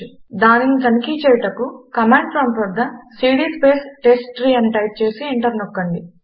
దానిని తనఖి చేయుటకు కమాండ్ ప్రాంప్టు వద్ద సీడీ స్పేస్ టెస్ట్ట్రీ అని టైప్ చేసి ఎంటర్ నొక్కండి